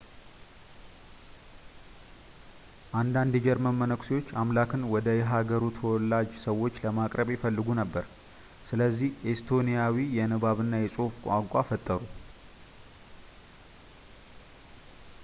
አንዳንድ የጀርመን መነኩሴዎች አምላክን ወደ የሃገሩ ተወላጅ ሰዎች ለማቅረብ ይፈልጉ ነበር ስለዚህ ኤስቶኒያዊ የንባብ እና የፅሑፍ ቋንቋ ፈጥሩ